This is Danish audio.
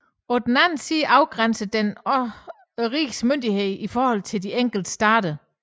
På den anden side afgrænsede den også rigets myndighed i forhold til de enkelte stater